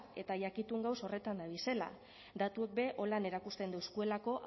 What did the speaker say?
eta jakitun gagoz horretan dabizela datuek be horrela erakusten dozkuelako